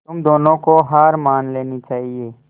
तुम दोनों को हार मान लेनी चाहियें